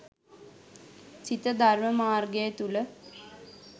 සිත ධර්ම මාර්ගය තුළ